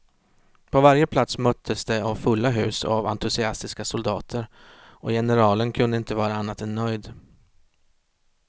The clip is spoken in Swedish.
På varje plats möttes de av fulla hus och av entusiastiska soldater, och generalen kunde inte vara annat än nöjd.